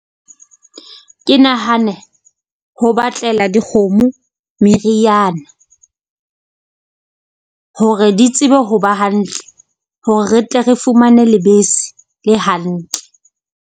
Ke nahane ho batlela dikgomo meriana, hore di tsebe ho ba hantle hore re tle re fumane lebese le hantle.